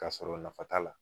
K'a sɔrɔ nafa t'a la